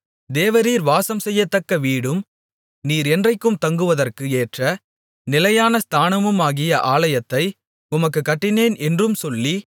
தேவரீர் வாசம்செய்யத்தக்க வீடும் நீர் என்றைக்கும் தங்குவதற்கு ஏற்ற நிலையான ஸ்தானமுமாகிய ஆலயத்தை உமக்குக் கட்டினேன் என்றும் சொல்லி